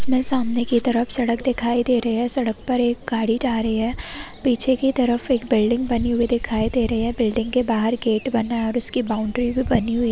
सामने की तरफ सड़क दिखाई दे रही है सड़क पर एक गाड़ी जा रही है पीछे की तरफ एक बिल्डिंग बनी हुई दिखाई दे रही है बिल्डिंग के बाहर एक गेट बना है उसकी बाउंड्री भी बनी हुई है।